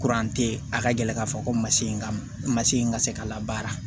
a ka gɛlɛ k'a fɔ ko masi in ka masi ka se ka labaara